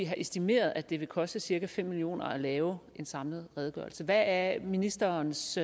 har estimeret at det vil koste cirka fem million kroner at lave en samlet redegørelse hvad er ministerens